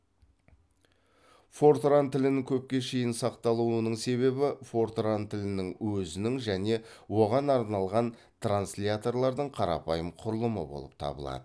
фортран тілінің көпке шейін сақталуының себебі фортран тілінің өзінің және оған арналған трансляторлардың қарапайым құрылымы болып табылады